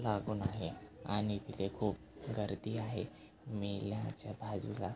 लागून आहे आणि तिथे खूप गर्दी आहे मेल्याच्या बाजूला--